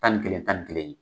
Tan ni kelen tan ni kelen